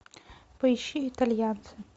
поищи итальянцы